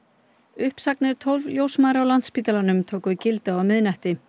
uppsagnir tólf ljósmæðra á Landspítalanum tóku gildi á miðnætti